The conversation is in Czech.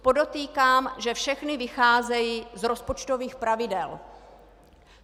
Podotýkám, že všechny vycházejí z rozpočtových pravidel.